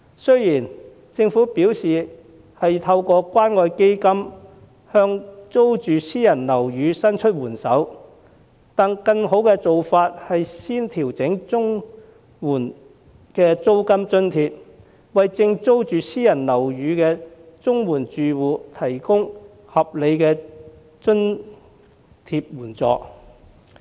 雖然政府表示已透過關愛基金向租住私人樓宇的綜援申領家庭伸出援手，但更好的做法是先調整綜援制度的租金津貼，為租住私人樓宇的綜援申領家庭提供合理的津貼援助。